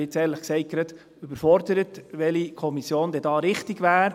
Ich bin ehrlich gesagt gerade überfordert mit der Frage, welche Kommission die richtige wäre.